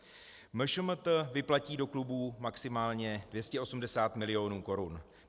MŠMT vyplatí do klubů maximálně 280 mil. korun.